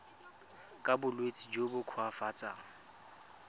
ka bolwetsi jo bo koafatsang